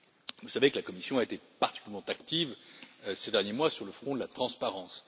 Vous savez que la Commission a été particulièrement active ces derniers mois sur le front de la transparence.